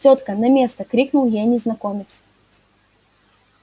тётка на место крикнул ей незнакомец